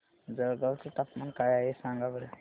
जळगाव चे तापमान काय आहे सांगा बरं